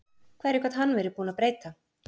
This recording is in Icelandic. Hverju gat hann verið búinn að breyta?